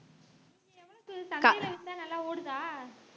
எவ்வளவுக்கு சந்தைல வித்தா நல்லா ஓடுதா